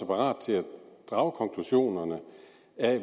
parat til at drage konklusionerne